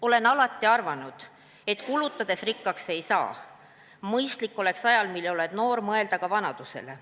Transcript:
Olen alati arvanud, et kulutades rikkaks ei saa, mõistlik oleks ajal, mil oled noor, mõelda ka vanadusele.